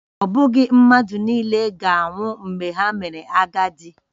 Ọ bụghị mmadụ nile ga-anwụ mgbe ha mere agadi